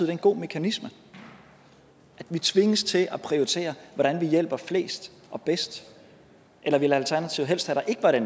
er en god mekanisme at vi tvinges til at prioritere hvordan vi hjælper flest og bedst eller ville alternativet helst have at